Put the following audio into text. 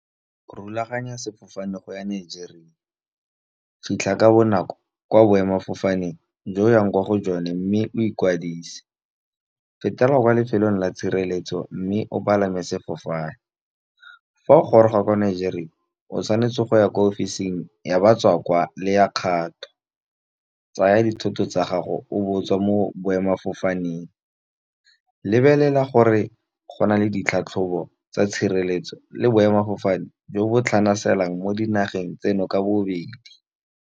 Go rulaganya sefofane go ya Nigeria, fitlha ka bonako kwa boemafofaneng jo yang kwa go jone, mme o ikwadise. Fetela kwa lefelong la tshireletso mme o palame sefofane, fa o goroga ko Nigeria o tshwanetse go ya ko offce-ing ya batswa kwaa le ya kgato. Tsaya dithoto tsa gago o bo o tswa mo boemafofaneng. Lebelela gore go na le ditlhatlhobo tsa tshireletso, le boemadifofane jo bo tlhanaselang mo dinageng tseno ka bobedi.